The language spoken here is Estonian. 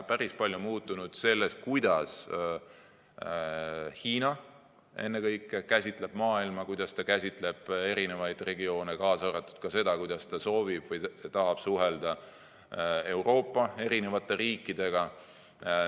Päris palju on muutunud ennekõike selles, kuidas Hiina käsitleb maailma, kuidas ta käsitleb eri regioone, kaasa arvatud seda, kuidas ta soovib suhelda Euroopa eri riikidega.